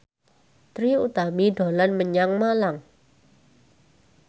Trie Utami dolan menyang Malang